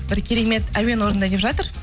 бір керемет әуен орындайын деп жатыр